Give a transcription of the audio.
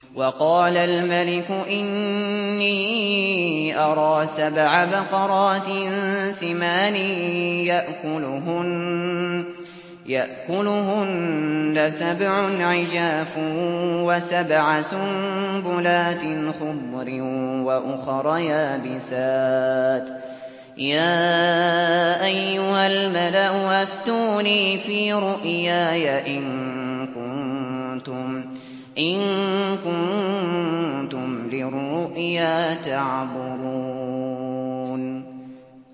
وَقَالَ الْمَلِكُ إِنِّي أَرَىٰ سَبْعَ بَقَرَاتٍ سِمَانٍ يَأْكُلُهُنَّ سَبْعٌ عِجَافٌ وَسَبْعَ سُنبُلَاتٍ خُضْرٍ وَأُخَرَ يَابِسَاتٍ ۖ يَا أَيُّهَا الْمَلَأُ أَفْتُونِي فِي رُؤْيَايَ إِن كُنتُمْ لِلرُّؤْيَا تَعْبُرُونَ